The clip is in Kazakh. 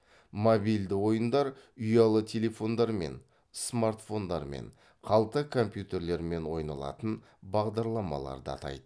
мобильді ойындар ұялы телефондармен смартфондармен қалта компьютерлермен ойналатын бағдарламаларды атайды